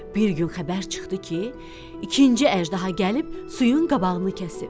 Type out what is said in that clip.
Bir gün xəbər çıxdı ki, ikinci əjdaha gəlib suyun qabağını kəsib.